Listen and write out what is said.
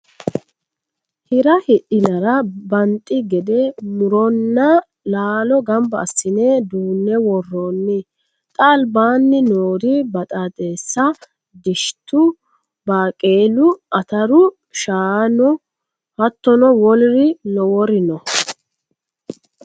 Hira hidhinara banxi gede muronna laalo gamba assine duune woronni xa albaani noori baxaxessa ,dishitu, Baaqelu, ataru shaano hattono woluri lowori no